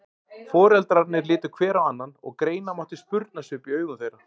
Foreldrarnir litu hver á annan og greina mátti spurnarsvip í augum þeirra.